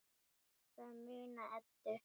Ég ætla að muna Eddu.